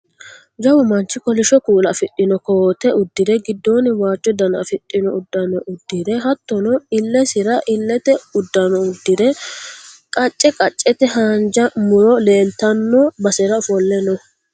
Jawu manchi kolishsho kuula afidhino koote uddire giddoonni waajjo Dana afidhino uddano uddire hattono illesira illete uddano uddire qacce qaccete haanja muro leeltanno basera ofolle no